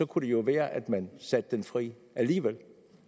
kunne det jo være at man satte den fri alligevel